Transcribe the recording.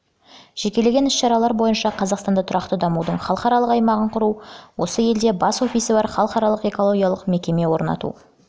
жекелеген іс-шаралар бойынша қазақстанда тұрақты дамудың халықаралық аймағын құру осы елде бас офисі бар халықаралық экологиялық мекеме орнату